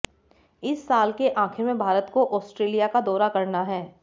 इस साल के आखिर में भारत को ऑस्ट्रेलिया का दौरा करना है